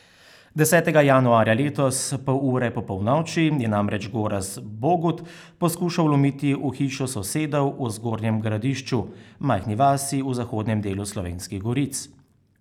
Desetega januarja letos pol ure po polnoči je namreč Gorazd Bogut poskušal vlomiti v hišo sosedov v Zgornjem Gradišču, majhni vasi v zahodnem delu Slovenskih goric.